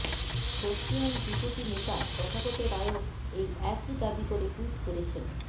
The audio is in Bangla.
বর্ষীয়ান বিজেপি নেতা তথাগত রায়ও এই একই দাবি করে টুইট করেছেন